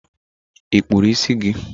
I kpụrụ isi gi?